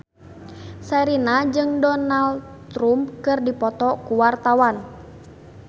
Sherina jeung Donald Trump keur dipoto ku wartawan